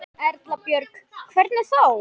Erla Björg: Hvernig þá?